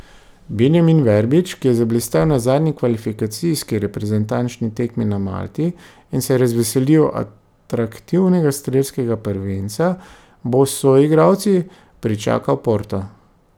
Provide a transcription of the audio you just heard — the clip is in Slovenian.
Benjamin Verbič, ki je zablestel na zadnji kvalifikacijski reprezentančni tekmi na Malti in se razveselil atraktivnega strelskega prvenca, bo s soigralci pričakal Porto.